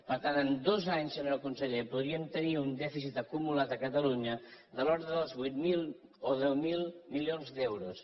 per tant en dos anys senyor conseller podríem tenir un dèficit acumulat a catalunya de l’ordre dels vuit mil o deu mil milions d’euros